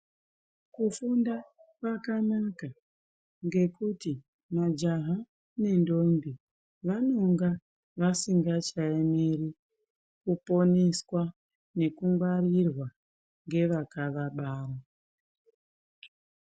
Kufunda kwakanaka ngekuti ndombi nemajaha nendombi vanonga vasichayani, kuponiswa nekungwarirwa ngevakavabara.